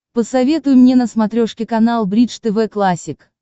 посоветуй мне на смотрешке канал бридж тв классик